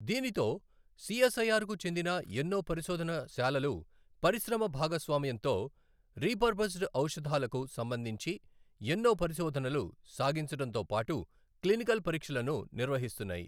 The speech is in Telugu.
దీనితో సి ఎస్ ఐ ఆర్ కు చెందిన ఎన్నోపరిశోధన శాలలు పరిశ్రమ భాగస్వామ్యంతో రీపర్పస్డ్ ఔషధాలకు సంబంధించి ఎన్నో పరిశోధనలు సాగించడంతోపాటు క్లినికల్ పరీక్షలను నిర్వహిస్తున్నాయి.